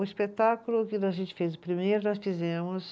O espetáculo que a gente fez o primeiro, nós fizemos